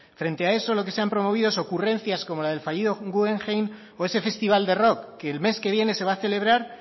frente a eso lo que se han promovido son ocurrencias como las del fallido guggenheim o ese festival de rock que el mes que viene se va a celebrar